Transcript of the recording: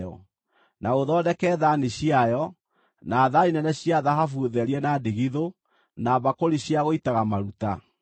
Na ũthondeke thaani ciayo, na thaani nene cia thahabu therie na ndigithũ, na mbakũri cia gũitaga maruta.